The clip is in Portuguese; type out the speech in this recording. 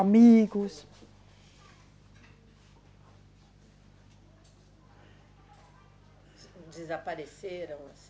Amigos. Desapareceram, assim?